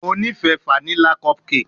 Mo ni ife fanila cupcake